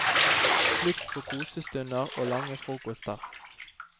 Slutt på kosestunder og lange frokoster.